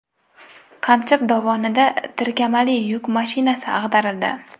Qamchiq dovonida tirkamali yuk mashinasi ag‘darildi.